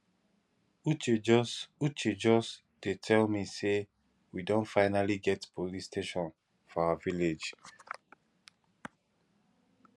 uche just uche just dey tell me say we don finally get police station for our village